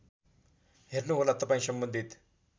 हेर्नुहोला तपाईँ सम्बन्धित